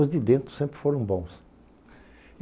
Os de dentro sempre foram bons.